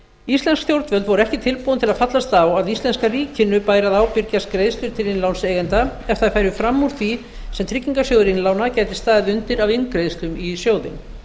íslensk stjórnvöld voru ekki tilbúin til að fallast á að íslenska ríkinu bæri að ábyrgjast greiðslur til innlánseigenda ef þær færu fram úr því sem tryggingarsjóður innstæðueigenda gæti staðið undir af inngreiðslum í sjóðinn